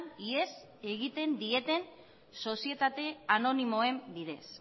ihes egiten dieten sozietate anonimoen bidez